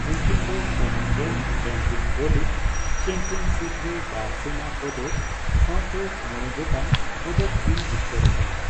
ᱩᱱᱠᱤᱱ ᱫᱚ Commonwealth tenpin bowling championship ᱨᱮ ᱵᱟᱨ ᱥᱚᱱᱟ ᱯᱚᱫᱚᱠ ᱥᱟᱣᱛᱮ ᱢᱚᱲᱮ ᱜᱚᱴᱟᱝ ᱯᱚᱫᱚᱠ ᱠᱤᱱ ᱡᱤᱛᱠᱟᱨ ᱟᱠᱟᱱᱟ ᱾